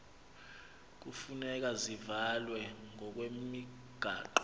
hufuneka zivalwe ngokwemigaqo